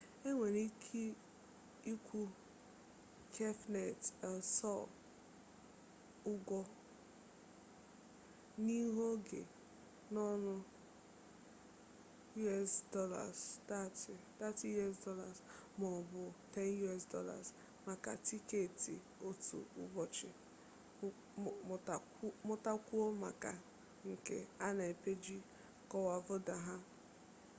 e nwere ike ịkwụ cafenet el sol ụgwọ n'ihu oge n'ọnụ us$30 maọbụ $10 maka tiketi otu ụbọchị; mụtakwuo maka nke a na peeji kọkovado ha